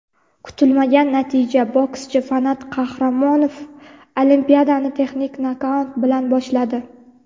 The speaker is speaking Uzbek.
Kutilmagan natija: bokschi Fanat Qahramonov Olimpiadani texnik nokaut bilan boshladi.